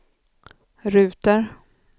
ruter